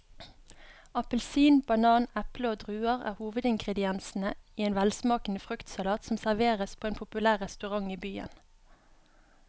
Appelsin, banan, eple og druer er hovedingredienser i en velsmakende fruktsalat som serveres på en populær restaurant i byen.